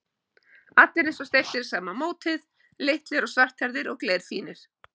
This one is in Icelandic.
Allir eins og steyptir í sama mótið, litlir og svarthærðir og glerfínir.